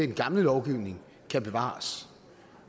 den gamle lovgivning kan bevares